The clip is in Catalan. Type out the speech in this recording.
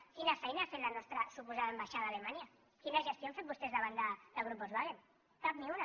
quina feina ha fet la nostra suposada ambaixada a alemanya quina gestió han fet vostès davant del grup volkswagen cap ni una